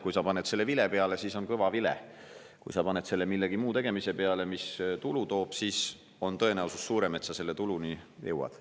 Kui sa paned selle vile peale, siis on kõva vile, kui sa paned selle millegi muu tegemise peale, mis tulu toob, siis on tõenäosus suurem, et sa selle tuluni jõuad.